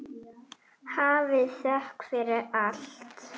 Hafið þökk fyrir allt.